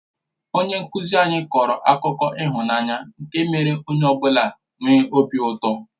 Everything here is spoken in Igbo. Onye nkụzi anyị kọrọ akụkọ ịhụnanya nke mèrè onye ọ bụla nwee obi ụtọ